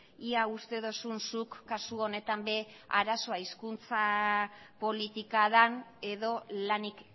ia uste duzun zuk kasu honetan ere arazoa hizkuntza politika den edo lanik